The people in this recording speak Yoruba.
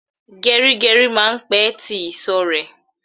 Geri geri máa ń pè tí ìsò rẹ